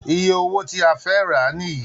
Iye owó tí a fẹ́ rà á nìyí